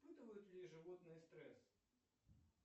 испытывают ли животные стресс